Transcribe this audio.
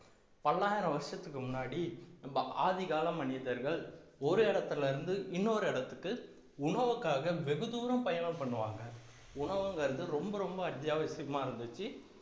பல்லாயிரம் வருஷத்துக்கு முன்னாடி நம்ம ஆதிகால மனிதர்கள் ஒரு இடத்துல இருந்து இன்னொரு இடத்துக்கு உணவுக்காக வெகு தூரம் பயணம் பண்ணுவாங்க உணவுங்கிறது ரொம்ப ரொம்ப அத்தியாவசியமா இருந்துச்சு